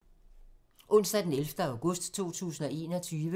Onsdag d. 11. august 2021